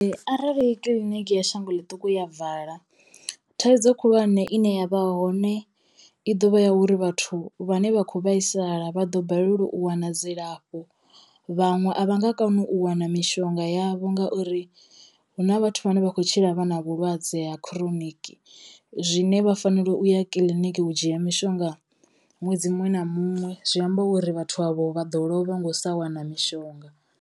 Arali kiḽiniki ya shango ḽiṱuku ya vala thaidzo khulwane ine yavha hone i dovha ya uri vhathu vhane vha kho vhaisala vha ḓo balelwa u wana dzilafho, vhaṅwe a vha nga koni u wana mishonga yavho ngauri huna vhathu vhane vha khou tshila vha na vhulwadze ha chronic zwine vha fanelo u ya kiḽiniki u dzhia mishonga ṅwedzi muṅwe na muṅwe. Zwi amba uri vhathu avho vha ḓo lovha ngo u sa wana mishonga.